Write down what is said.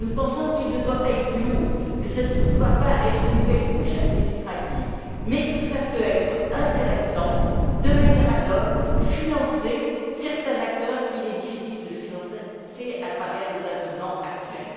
Nous pensons que ce projet ne doit pas être trop lourd, qu'il ne doit pas ajouter une nouvelle couche administrative, mais qu'il peut être intéressant, utilisé de manière ad hoc, pour financer certains acteurs qu'il est difficile de financer à travers les instruments actuels.